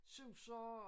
Suser og